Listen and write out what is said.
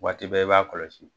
Waati bɛɛ i b'a kɔlɔsi.